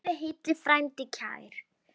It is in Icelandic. Lifðu heill, frændi kær!